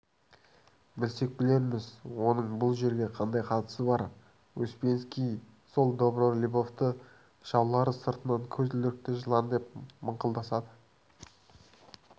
білсек-білерміз оның бұл жерге қандай қатысы бар успенский сол добролюбовты жаулары сыртынан көзілдірікті жылан деп мыңқылдасады